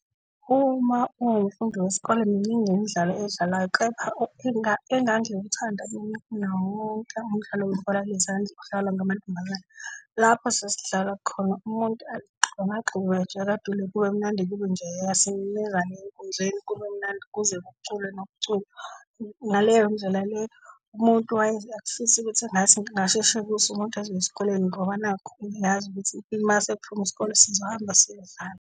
Uma ungumfundi wesikole miningi imidlalwayo edlalwa kepha engangiwuthanda mina umdlalo webhola lezandla, odlalwa ngamantombazane. Lapho sasidlala khona umuntu agxumagxume, atshakadule kube mnandi kube njeyaya enkundleni kube mnandi kuze kuculwe nokuculwa. Ngaleyo ndlela le umuntu wayeze afise ukuthi ngathi kungasheshe kuse umuntu azoya esikoleni ngoba nakhu uyazi ukuthi mase kuphume isikole sizohamba siyodlala.